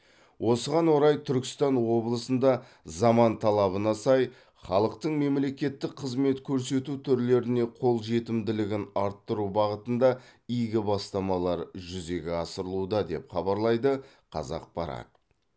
осыған орай түркістан облысында заман талабына сай халықтың мемлекеттік қызмет көрсету түрлеріне қолжетімділігін арттыру бағытында игі бастамалар жүзеге асырылуда деп хабарлайды қазақпарат